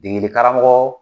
Degeli karamɔgɔ